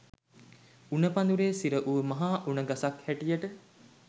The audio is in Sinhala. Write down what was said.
උණ පඳුරේ සිර වූ මහා උණ ගසක් හැටියට